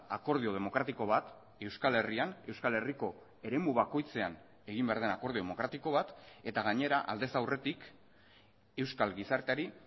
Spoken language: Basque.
akordio demokratiko bat euskal herrian euskal herriko eremu bakoitzean egin behar den akordio demokratiko bat eta gainera aldez aurretik euskal gizarteari